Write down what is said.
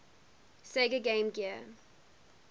sega game gear